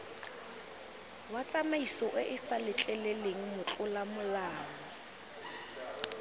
wa tsamaisoeesa letleleleng motlola molao